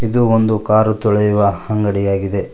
ಇದು ಒಂದು ಕಾರ್ ತೊಳೆಯುವ ಅಂಗಡಿಯಾಗಿದೆ.